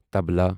طبلہ